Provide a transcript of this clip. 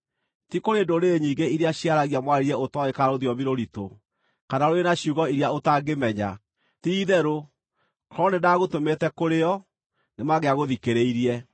ti kũrĩ ndũrĩrĩ nyingĩ iria ciaragia mwarĩrie ũtooĩ kana rũthiomi rũritũ, kana rũrĩ na ciugo iria ũtangĩmenya. Ti-itherũ, korwo nĩndagũtũmĩte kũrĩ o, nĩmangĩagũthikĩrĩirie.